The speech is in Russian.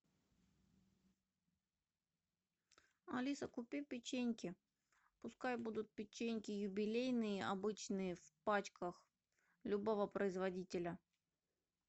алиса купи печеньки пускай будут печеньки юбилейные обычные в пачках любого производителя